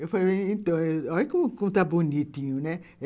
Eu falei, então, olha como está bonitinho, né?